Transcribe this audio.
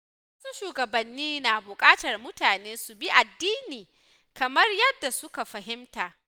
Wasu shugabanni na buƙatar mutane su bi addini kamar yadda suka fahimta.